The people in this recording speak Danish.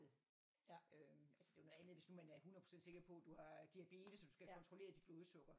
Øhm altså det er jo noget andet hvis man er 100 procent sikker på du har diabetes og du skal have kontrolleret dit blodsukker